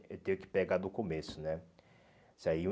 Eu tenho que pegar do começo, né? Isso aí